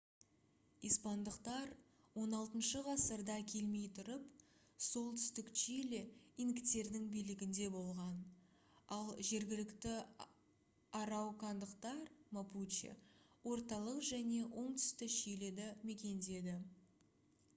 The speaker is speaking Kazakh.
испандықтар 16-шы ғасырда келмей тұрып солтүстік чили инктердің билігінде болған ал жергілікті араукандықтар мапуче орталық және оңтүсті чилиді мекендеген